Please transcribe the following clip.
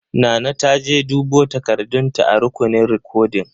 Nana ta je dubo takardun ta a rukunin rikodin.